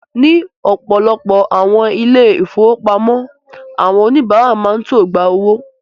Ní ọ̀pọ̀lọpọ̀ awọn ilẹ-ifowopamọ, awọn onibàrà ma ṅ to gbà ọwọ̀.